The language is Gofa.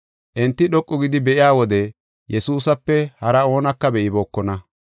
Enti dhoqu gidi be7iya wode Yesuusape hara oonaka be7ibookona.